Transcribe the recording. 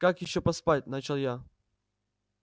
как ещё поспать начал я